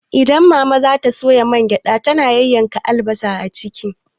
Idan mama za ta soya mangyaɗa, tana yayyanka albasa a ciki.